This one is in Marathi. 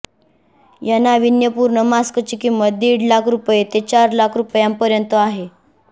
या नावीन्यपूर्ण मास्कची किंमत दीड लाख रुपये ते चार लाख रुपयांपर्यंत आहे